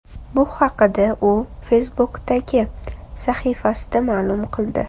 Bu haqda u Facebook’dagi sahifasida ma’lum qildi .